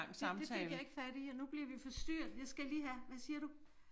Det det fik jeg ikke fat i og nu bliver vi forstyrret jeg skal lige have hvad siger du?